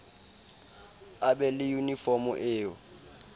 a be le yunifomo eo